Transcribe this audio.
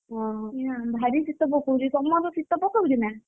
ଓହୋ ଭାରି ଶୀତ ପକଉଛି, ତମର ଶୀତ ପକଉଛି ନା?